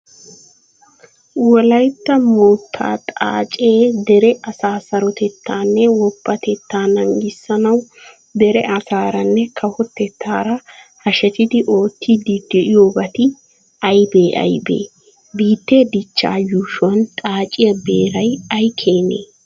Wolaytta moottaa xaacee dere asaa sarotettaanne woppatettaa naagissanawu dere asaaranne kawotettaara hashetidi oottiiddi de'iyobati aybee Aybee? Biittee dichchaa yuushuwan xaaciya beeray ay keenee?